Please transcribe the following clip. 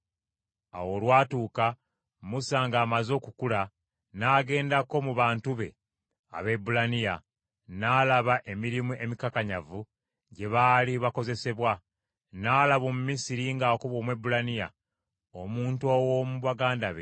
Awo olwatuuka, Musa ng’amaze okukula, n’agendako mu bantu be Abaebbulaniya, n’alaba emirimu emikakanyavu gye baali bakozesebwa. N’alaba Omumisiri ng’akuba Omwebbulaniya, omuntu ow’omu baganda be.